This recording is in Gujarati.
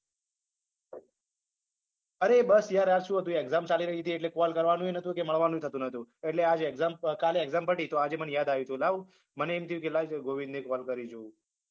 અરે બસ યાર આ શું હતું exam ચાલી રહી હતી એટલે call કરવાનુંય નતું કે મળવાનુંય થતું નતું એટલે આજ exam કાલ exam પતી તો આજે મન યાદ આવ્યું કે લાવ મને એમ થયું કે લાય ગોવિંદને call કરી જોવું